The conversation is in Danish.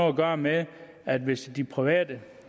at gøre med at hvis de private